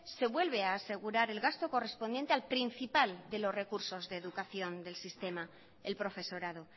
se vuelve a asegurar el gasto correspondiente al principal de los recursos de educación del sistema el profesorado